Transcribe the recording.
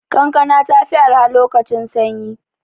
Kankana ta fi arha lokacin sanyi.